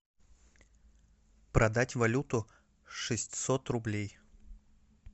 продать валюту шестьсот рублей